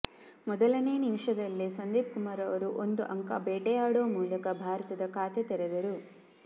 ಮೊದಲನೇ ನಿಮಿಷದಲ್ಲೇ ಸಂದೀಪ್ ಕುಮಾರ್ ಒಂದು ಅಂಕ ಬೇಟೆಯಾಡುವ ಮೂಲಕ ಭಾರತದ ಖಾತೆ ತೆರೆದರು